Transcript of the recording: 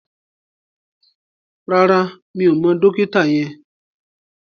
Rárá, mi ò mọ dókítà yẹn